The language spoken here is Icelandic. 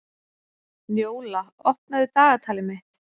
Njóla, opnaðu dagatalið mitt.